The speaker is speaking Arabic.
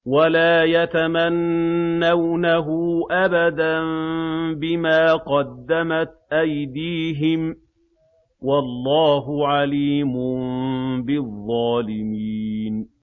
وَلَا يَتَمَنَّوْنَهُ أَبَدًا بِمَا قَدَّمَتْ أَيْدِيهِمْ ۚ وَاللَّهُ عَلِيمٌ بِالظَّالِمِينَ